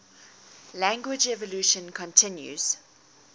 language evolution continues